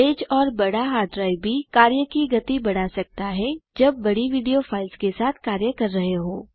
तेज और बड़ा hard drive भी कार्य की गति बढ़ा सकता है जब बड़ी विडियो फाइल्स के साथ कार्य कर रहे हों